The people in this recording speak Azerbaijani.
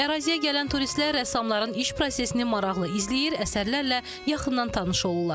Əraziyə gələn turistlər rəssamların iş prosesini maraqlı izləyir, əsərlərlə yaxından tanış olurlar.